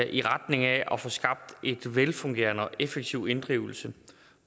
i retning af at få skabt en velfungerende og effektiv inddrivelse